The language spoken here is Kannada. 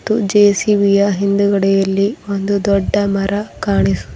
ಇದು ಜೆ_ಸಿ_ಬಿ ಯ ಹಿಂದ್ಗಡೆಯಲ್ಲಿ ಒಂದು ದೊಡ್ಡ ಮರ ಕಾಣಿಸು--